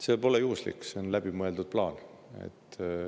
See pole juhuslik, see on läbimõeldud plaan.